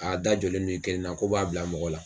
A da jɔlen no i kelen na k'o b'a bila mɔgɔ la.